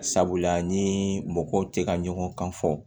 Sabula ni mɔgɔw tɛ ka ɲɔgɔn kan fɔ